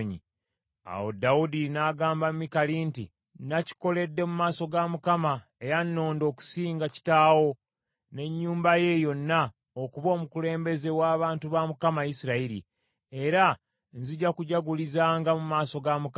Awo Dawudi n’agamba Mikali nti, “Nakikoledde mu maaso ga Mukama eyannonda okusinga kitaawo, n’ennyumba ye yonna okuba omukulembeze w’abantu ba Mukama , Isirayiri, era nzija kujagulizanga mu maaso ga Mukama .